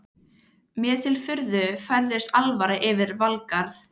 Mér til furðu færist alvara yfir Valgarð.